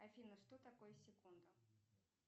афина что такое секунда